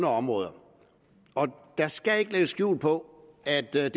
områder og der skal ikke lægges skjul på at den